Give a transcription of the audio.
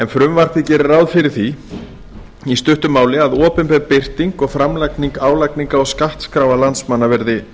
frumvarpið gerir ráð fyrir því í stuttu máli að opinber birting og framlagning álagningar og skattskráa landsmanna verði